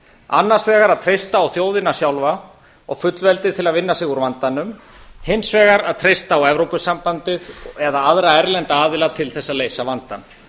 annars vegar að treysta á þjóðina sjálfa og fullveldið til að vinna sig úr vandanum hins vegar að treysta á evrópusambandið eða aðra erlenda aðila til þess að leysa vandann